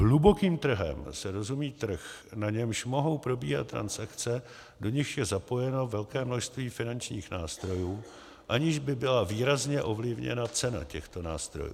Hlubokým trhem se rozumí trh, na němž mohou probíhat transakce, do nichž je zapojeno velké množství finančních nástrojů, aniž by byla výrazně ovlivněna cena těchto nástrojů.